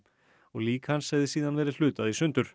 lík hans hefði síðan verið hlutað